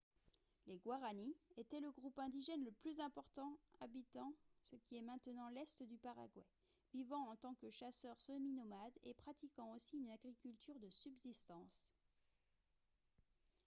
les guaraní étaient le groupe indigène le plus important habitant ce qui est maintenant l’est du paraguay vivant en tant que chasseurs semi-nomades et pratiquant aussi une agriculture de subsistance